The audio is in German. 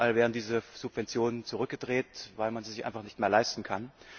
Überall werden diese Subventionen zurückgedreht, weil man sie sich einfach nicht mehr leisten kann.